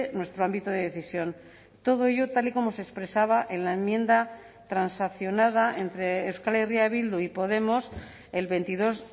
nuestro ámbito de decisión todo ello tal y como se expresaba en la enmienda transaccionada entre euskal herria bildu y podemos el veintidós